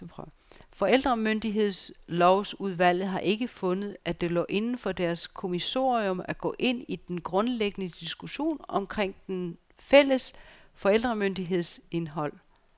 Forældremyndighedslovsudvalget har ikke fundet, at det lå inden for deres kommissorium, at gå ind i den grundlæggende diskussion omkring den fælles forældremyndigheds indhold.